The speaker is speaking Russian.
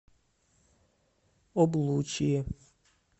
облучье